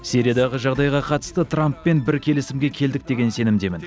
сириядағы жағыдайға қатысты трамппен бір келісімге келдік деген сенімдемін